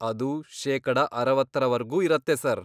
ಅದು ಶೇಕಡ ಅರವತ್ತರವರ್ಗೂ ಇರತ್ತೆ ಸರ್.